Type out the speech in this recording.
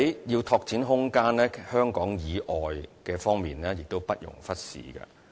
要拓展空間，香港以外的地方亦不容忽視。